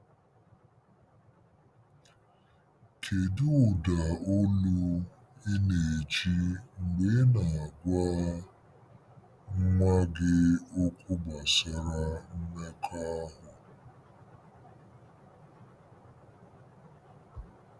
Kedu ụda olu ị na-eji mgbe ị na-agwa nwa gị okwu gbasara mmekọahụ?